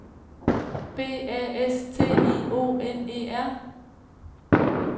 B A S T I O N E R